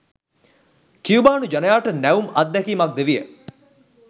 කියුබානු ජනයාට නැවුම් අත්දැකීමක් ද විය.